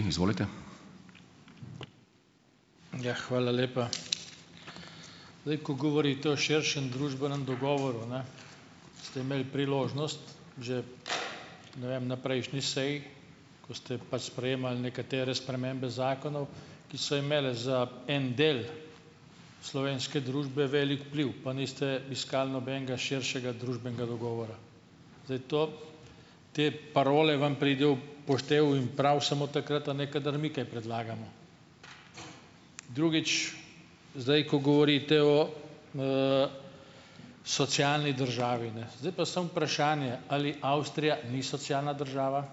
Ja. Hvala lepa. Zdaj, ko govorite o širšem družbenem dogovoru, ne, ste imeli priložnost, že ne vem, na prejšnji seji, ko ste pač sprejemali nekatere spremembe zakonov, ki so imele za en del slovenske družbe velik vpliv, pa niste iskali nobenega širšega družbenega dogovora. Zdaj, to te parole vam pridejo v poštev in prav samo takrat, a ne, kadar mi kaj predlagamo. Drugič, zdaj ko govorite o, socialni državi, ne, zdaj pa samo vprašanje, ali Avstrija ni socialna država.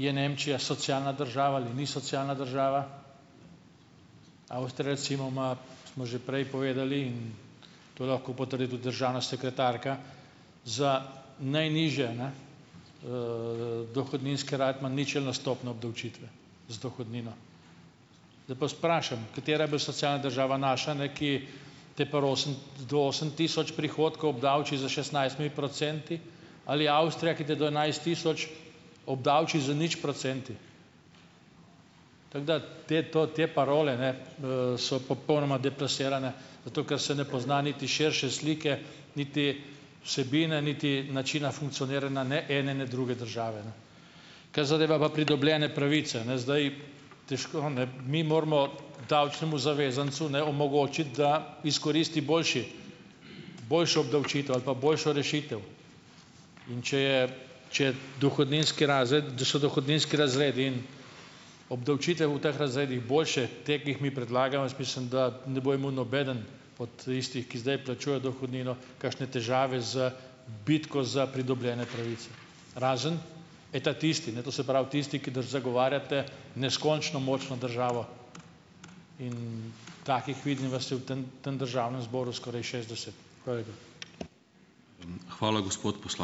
Je Nemčija socialna država ali ni socialna država? Avstrija, recimo, ima, smo že prej povedali in to lahko potrdi tudi državna sekretarka, za najnižje, ne, dohodninski ima ničelno stopnjo obdavčitve z dohodnino. Zdaj pa vas vprašam, katera je bolj socialna država, naša, ne, ki te pri osem do osem tisoč prihodkov obdavči s šestnajstimi procenti, ali Avstrija, ki te do enajst tisoč obdavči z nič procenti. Tako da te to te parole, ne, so popolnoma deplasirane, zato ker se ne pozna niti širše slike niti vsebine niti načina funkcioniranja ne ene ne druge države, ne. Kar zadeva pa pridobljene pravice, ne, zdaj težko, ne, mi moramo davčnemu zavezancu, ne, omogočiti, da izkoristi boljši boljšo obdavčitev ali pa boljšo rešitev. In če je, če je dohodninski razred, so dohodninski razredi in obdavčitve v teh razredih boljše teh, ki jih mi predlagamo, jaz mislim, da ne bo imel nobeden od tistih, ki zdaj plačuje dohodnino, kakšne težave z bitko za pridobljene pravice, razen ta tisti, ne, to se pravi tisti, ki zagovarjate neskončno močno državo. In takih, vidim, vas je v tem tem državnem zboru skoraj šestdeset. Hvala lepa.